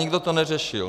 Nikdo to neřešil.